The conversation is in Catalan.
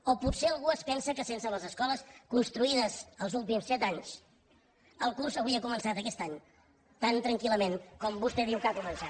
o potser algú es pensa que sense les escoles construïdes els últims set anys el curs hauria començat aquest any tan tranquillament com vostè diu que ha començat